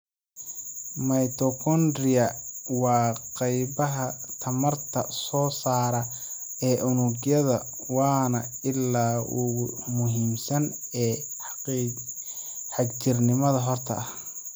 Mitochondria waa qaybaha tamarta soo saara ee unugyada waana ilaha ugu muhiimsan ee xagjirnimada xorta ah.